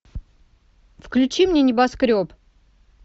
включи мне небоскреб